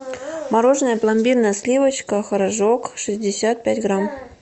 мороженое пломбир на сливочках рожок шестьдесят пять грамм